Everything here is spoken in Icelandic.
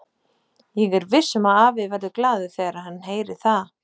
Ég er viss um að afi verður glaður þegar hann heyrir það.